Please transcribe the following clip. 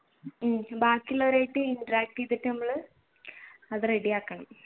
ഉം ബാക്കിയുള്ളവരായിട്ട് interact ചെയ്തിട്ട് നമ്മൾ അത് ready ആക്കണം